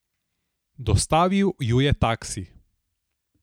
Dostavil ju je taksi.